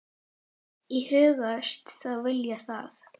Og hugðust þá selja það.